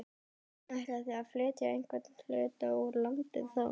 Ætlið þið að flytja einhvern hluta úr landi þá?